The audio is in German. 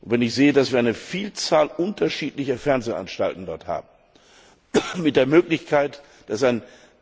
Wenn ich sehe, dass wir eine Vielzahl unterschiedlicher Fernsehanstalten dort haben und es möglich war, am